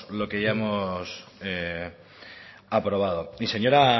lo que ya hemos aprobado y señora